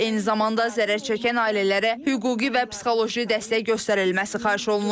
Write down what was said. Eyni zamanda zərərçəkən ailələrə hüquqi və psixoloji dəstək göstərilməsi xahiş olunub.